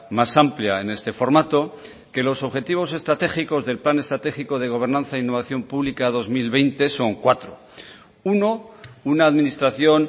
más amplia en este formato que los objetivos estratégicos del plan estratégico de gobernanza e innovación pública dos mil veinte son cuatro uno una administración